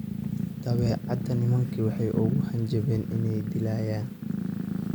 Dabadeed nimankii waxay ugu hanjabeen inay dilayaan.